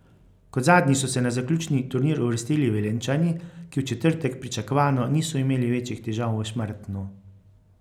Kot zadnji so se na zaključni turnir uvrstili Velenjčani, ki v četrtek pričakovano niso imeli večjih težav v Šmartnu.